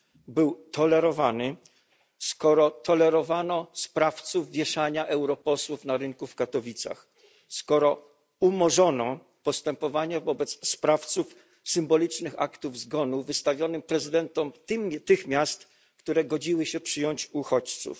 Był tolerowany, skoro tolerowano sprawców wieszania europosłów na rynku w Katowicach, skoro umorzono postępowanie wobec sprawców symbolicznych aktów zgonu wystawionych prezydentom tych miast, które godziły się przyjąć uchodźców.